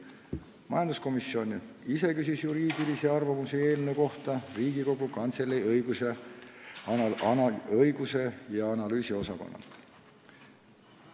Majanduskomisjon ise küsis juriidilist hinnangut eelnõu kohta Riigikogu Kantselei õigus- ja analüüsiosakonnalt.